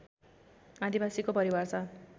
आदिवासीको परिभाषा